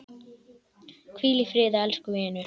Hvíl í friði elsku vinur!